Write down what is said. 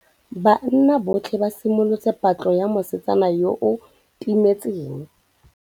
Banna botlhê ba simolotse patlô ya mosetsana yo o timetseng.